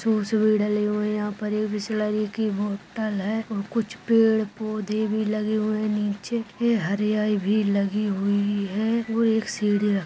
bottle है कुछ पेढ पोधे भी लगी हुए है नीचे फिर हरयाली भी लगी हुए है वो एक सिडिया--